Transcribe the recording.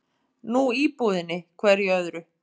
Nú íbúðinni, hverju öðru?